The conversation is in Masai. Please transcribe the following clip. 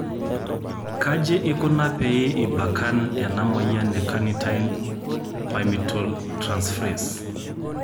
Kaji ikonand pee ebakand ena moyian e carnitine palmitoyltransferase